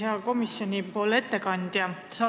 Hea komisjoni ettekandja!